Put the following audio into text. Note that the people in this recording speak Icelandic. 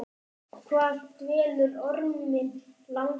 Hvað dvelur orminn langa?